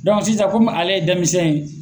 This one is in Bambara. sisan kɔmi ale ye denmisɛn ye